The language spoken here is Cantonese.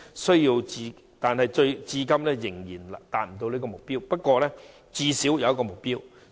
雖然至今仍然無法達標，但最低限度都有目標。